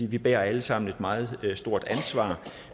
vi bærer alle sammen et meget stort ansvar